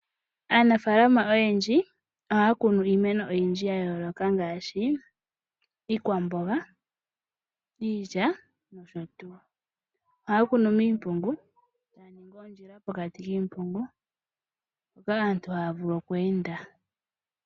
Aanafalama oyendji ohaya kunu iimeno oyindji ya yooloka ngaashi iikwamboga, iilya nosho tuu. Ohaya kunu miimpungu e taya ningi oondjila pokati kiimpungu mpoka aantu haya vulu okweenda.